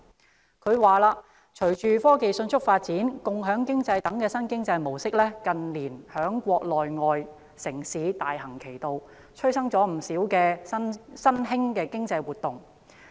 施政報告指出："隨着科技迅速發展，共享經濟等新經濟模式近年在國內外城市大行其道，催生了不少新興經濟活動"。